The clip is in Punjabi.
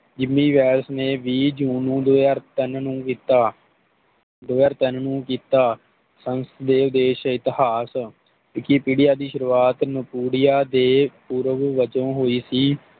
ਗਿਮੀ ਵੈਲਜ਼ ਨੇ ਵੀਹ ਜੂਨ ਦੋ ਹਾਜ਼ਰ ਤਿਨ ਨੂੰ ਕੀਤਾ ਦੋ ਹਾਜ਼ਰ ਤਿਨ ਨੂੰ ਕੀਤਾ ਸੰਸਦੇਵ ਦੇ ਸ਼ਹਿਤਹਾਤ Vikipedia ਦੀ ਸ਼ੁਰੂਆਤ ਨਾਕੋਡੀਆ ਦੇ ਪੂਰਵ ਵਜੋਂ ਹੋਈ ਸੀ